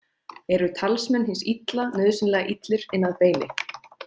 Eru talsmenn hins illa nauðsynlega illir inn að beini?